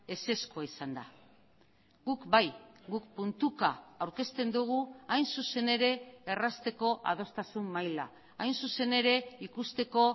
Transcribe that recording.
ezezkoa izan da guk bai guk puntuka aurkezten dugu hain zuzen ere errazteko adostasun maila hain zuzen ere ikusteko